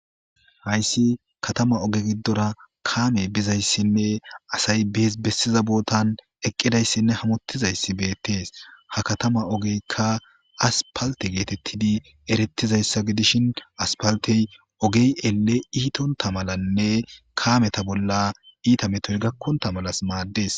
hayssi katama oge giddora kaame bizayssinne asay biis bessiza bootan eqqidayssinne hamottizayssi beettees ha katama ogeykka aspalte geetettidi erettizayssa gidishin aspaltey ogey ele iitonta malanne kaameta bolla iita metoy gakkonta malas maaddes